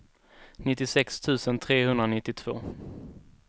nittiosex tusen trehundranittiotvå